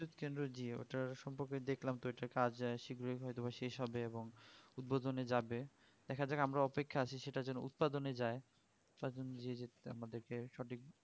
বিদ্যুৎ কেন্দ্র jio ওটার সম্পর্কে দেখলাম তো এটা কাজে শ্রীগ্রই হয়তো শেষ হবে এবং উদ্বোধন যাবে দেখা যাক আমরা অপেক্ষায় আছি সেটা যেন উৎপাদনে যাই আমাদের কে সঠিক